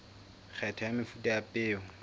kgetho ya mefuta ya peo